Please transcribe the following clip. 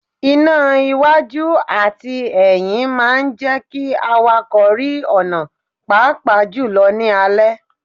Iná iwájú àti ẹyín máa ń jẹ́ kí àwàkọ̀ rí ọ̀nà pàápàá jù lọ ní alẹ́.